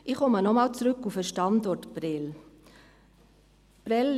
Ich komme nochmals auf den Standort Prêles zurück.